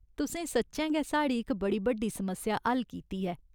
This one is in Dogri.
तुसें सच्चैं गै साढ़ी इक बड़ी बड्डी समस्या हल कीती ऐ।